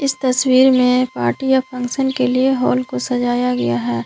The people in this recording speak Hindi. इस तस्वीर में पार्टी या फंक्शन के लिए हॉल को सजाया गया है।